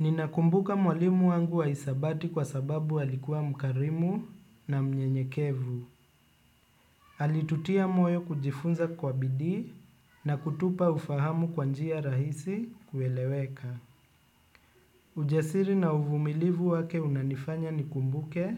Ninakumbuka mwalimu wangu wa hisabati kwa sababu alikuwa mkarimu na mnyenyekevu. Alitutia moyo kujifunza kwa bidii na kutupa ufahamu kwa njia rahisi kueleweka. Ujasiri na uvumilivu wake unanifanya nikumbuke